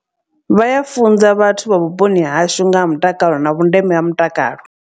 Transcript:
Vha ya funza vhathu vha vhuponi hashu ngaha mutakalo na vhundeme ha mutakalo.